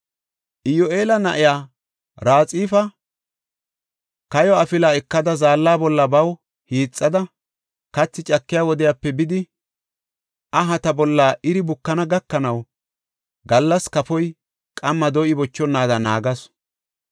Iyoheela na7iya Raxifa kayo afila ekada zaalla bolla baw hiixada, kathi cakiya wodiyape bidi ahata bolla iri bukana gakanaw gallas kafoy, qamma do7i bochonaada naagasu.